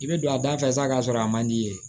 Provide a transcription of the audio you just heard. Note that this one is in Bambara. I bɛ don a da fɛ sa k'a sɔrɔ a man di i ye